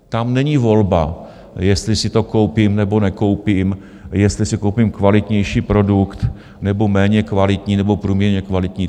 Tam není volba, jestli si to koupím, nebo nekoupím, jestli si koupím kvalitnější produkt, nebo méně kvalitní nebo průměrně kvalitní.